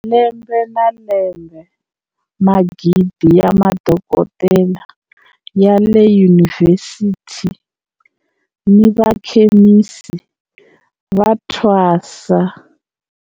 Lembe ni lembe, magidi ya madokodela ya le yunivhesiti ni vakhemisi va thwasa.